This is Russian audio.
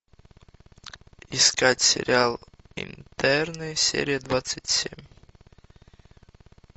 искать сериал интерны серия двадцать семь